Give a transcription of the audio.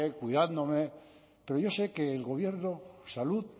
cuidándome pero yo sé que el gobierno salud